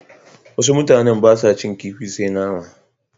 Wasu mutanen ba sa cin kifi sai nama.